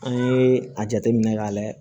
An ye a jateminɛ k'a lajɛ